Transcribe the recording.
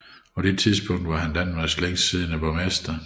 På dette tidspunkt var han Danmarks længst siddende borgmester